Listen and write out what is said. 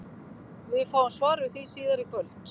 Við fáum svar við því síðar í kvöld!